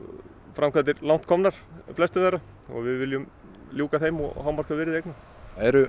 framkvæmdir langt komnar í flestum þeirra og við viljum ljúka þeim og hámarka virði eigna eru